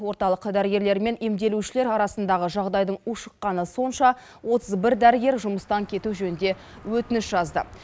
орталық дәрігерлер мен емделушілер арасындағы жағыдайдың ушыққаны сонша отыз бір дәрігер жұмыстан кету жөнінде өтініш жазды